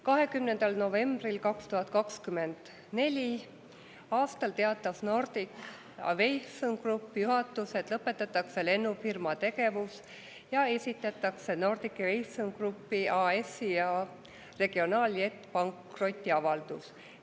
20. novembril 2024. aastal teatas Nordic Aviation Groupi juhatus, et lõpetatakse lennufirma tegevus ja esitatakse Nordic Aviation Group AS-i ja Regional Jet OÜ pankrotiavaldus.